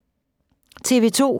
TV 2